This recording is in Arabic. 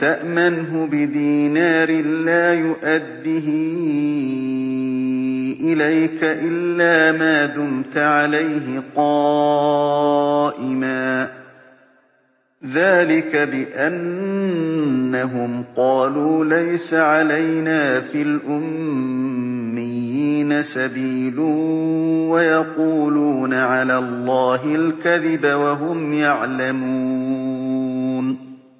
تَأْمَنْهُ بِدِينَارٍ لَّا يُؤَدِّهِ إِلَيْكَ إِلَّا مَا دُمْتَ عَلَيْهِ قَائِمًا ۗ ذَٰلِكَ بِأَنَّهُمْ قَالُوا لَيْسَ عَلَيْنَا فِي الْأُمِّيِّينَ سَبِيلٌ وَيَقُولُونَ عَلَى اللَّهِ الْكَذِبَ وَهُمْ يَعْلَمُونَ